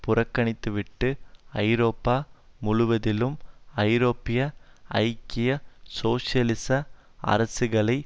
புறக்கணித்துவிட்டு ஐரோப்பா முழுவதிலும் ஐரோப்பிய ஐக்கிய சோசியலிச அரசுகளை